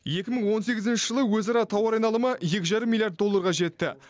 екі мың он сегізінші жылы өзара тауар айналымы екі жарым миллиард долларға жетті